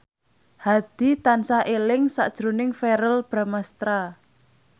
Hadi tansah eling sakjroning Verrell Bramastra